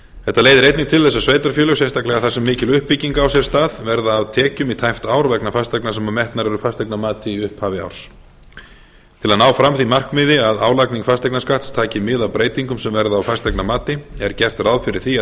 þetta leiðir einnig til þess að sveitarfélög sérstaklega þar sem mikil uppbygging á sér stað verða af tekjum í tæpt ár vegna fasteigna sem metnar eru fasteignamati í upphafi árs til að ná fram því markmiði að álagning fasteignaskatts taki mið af breytingum sem verða á fasteignamati er gert ráð fyrir því